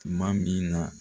Tuma min na